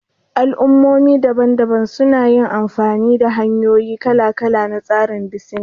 Al'ummomi daban-daban sun yi amfani da hanyoyi kala-kala na tsarin bisina